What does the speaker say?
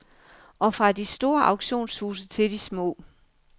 Og fra de store auktionshuse til de små.